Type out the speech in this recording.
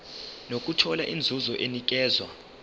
nokuthola inzuzo enikezwa